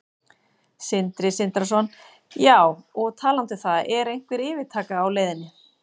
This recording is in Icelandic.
Sindri Sindrason: Já, og talandi um það, er einhver yfirtaka á leiðinni?